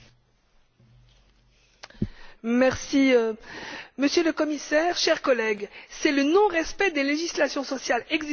Monsieur le Commissaire, chers collègues, c'est le non respect des législations sociales existantes qui est la cause du dumping social, et non l'Europe.